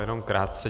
Jenom krátce.